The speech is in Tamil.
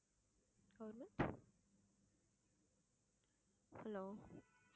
hello